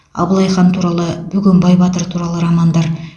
абылайхан туралы бөгенбай батыр туралы романдар